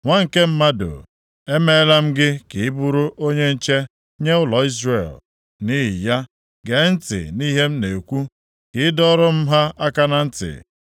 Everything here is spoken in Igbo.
“Nwa nke mmadụ, emeela m gị ka ị bụrụ onye nche nye ụlọ Izrel. Nʼihi ya, gee ntị nʼihe m na-ekwu, ka ị dọọrọ m ha aka na ntị.